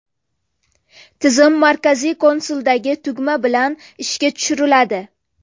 Tizim markaziy konsoldagi tugma bilan ishga tushiriladi.